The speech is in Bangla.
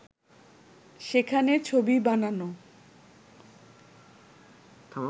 সেখানে ছবি বানানো